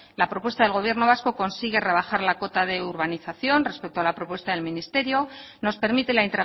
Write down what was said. la propuesta del gobierno vasco consigue rebajar la cota de urbanización respecto a la propuesta del ministerio nos permite la